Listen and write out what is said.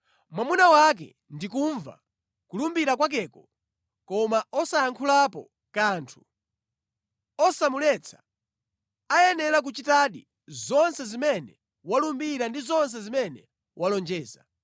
mwamuna wake ndi kumva kulumbira kwakeko koma osayankhulapo kanthu, osamuletsa, ayenera kuchitadi zonse zimene walumbira ndi zonse zimene walonjeza.